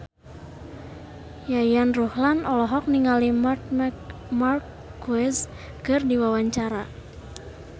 Yayan Ruhlan olohok ningali Marc Marquez keur diwawancara